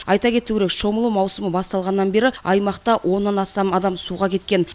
айта кету керек шомылу маусымы басталғаннан бері аймақта оннан астам адам суға кеткен